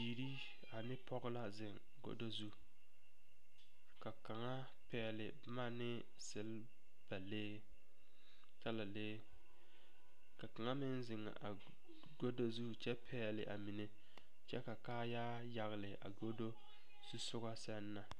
Bibiiri ane pɔge la zeŋ gado zu ka kaŋa pɛgle boma ne selbalee talalee ka kaŋa meŋ zeŋ gado zu kyɛ pɛgle a mine kyɛ ka kaaya yagle a gado zusɔga sɛŋ na.